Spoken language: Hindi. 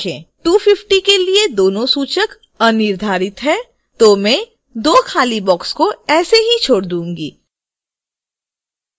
250 के लिए दोनों सूचक अनिर्धारित हैं तो मैं दो खाली बॉक्स को ऐसे ही छोड़ दूंगी